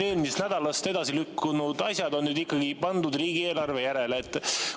Eelmisest nädalast edasi lükkunud asjad on nüüd ikkagi pandud riigieelarve järele.